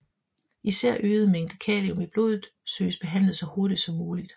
Især øget mængde kalium i blodet søges behandlet så hurtigt som muligt